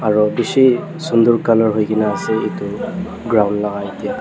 aro bishi sundur color hoi kena ase itu ground laga yete.